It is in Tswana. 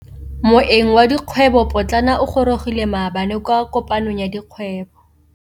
Moêng wa dikgwêbô pôtlana o gorogile maabane kwa kopanong ya dikgwêbô.